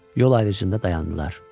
Yol ayrıcında dayandılar.